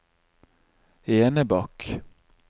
Enebakk